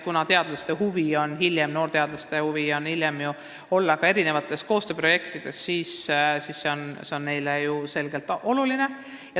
Kuna noorteadlastel on huvi hiljem osaleda koostööprojektides, siis on inglise keele kasutamine neile selgelt oluline.